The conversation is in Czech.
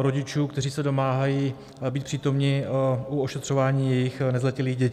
rodičů, kteří se domáhají být přítomni u ošetřování jejich nezletilých dětí.